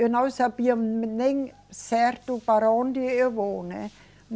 Eu não sabia nem certo para onde eu vou, né?